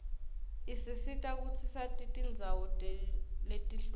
isisita kutsi sati tindzawo letihlukile